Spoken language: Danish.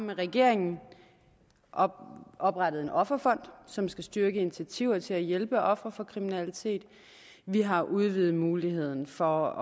med regeringen om at oprettet en offerfond som skal styrke initiativer til at hjælpe ofre for kriminalitet vi har udvidet muligheden for